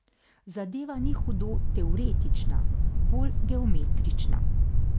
Zadeva ni hudo teoretična, bolj geometrična.